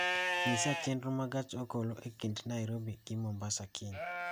nyisa chenro ma gach okoloe kind nairobi gi mombasa kiny